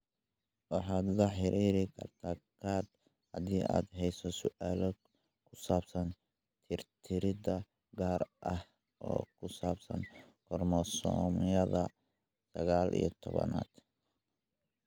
Waxaad la xiriiri kartaa GARD haddii aad hayso su'aalo ku saabsan tirtirid gaar ah oo ku saabsan koromosoomyada sagaal iyo tobnaad .